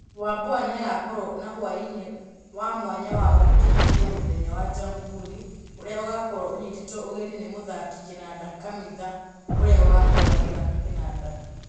Wambua-nĩagakorwo na hwainĩ wa mwanya wa gũkĩithia mũthenya wa Jamũhũri ũrĩa ũgakorwo ũnyitĩtwo ũgeni nĩ mũthaki kĩnanda Kamitha ũrĩa ũgakorwo agĩthaka kĩnanda.